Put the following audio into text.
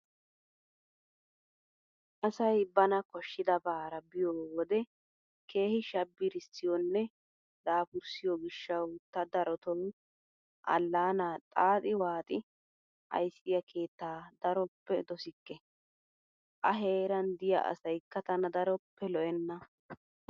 Asayi bana koshshidabaara biyoo wodee keehi shabbirissiyoonne dapurssiyoo gishshawu ta daroto Allaanaa xaaxi waaxi ayissiyaa keettaa daroppe dosikke. A heeran diyaa asayikka tana daroppe lo'enna.